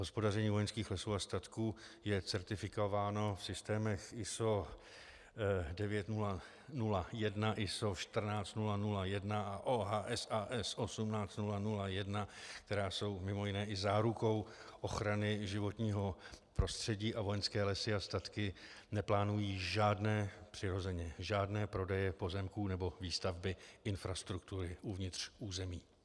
Hospodaření Vojenských lesů a statků je certifikováno v systémech ISO 9001, ISO 14001 a OHSAS 18001, které jsou mimo jiné i zárukou ochrany životního prostředí, a Vojenské lesy a statky neplánují žádné, přirozeně žádné prodeje pozemků nebo výstavby infrastruktury uvnitř území.